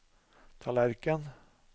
tallerken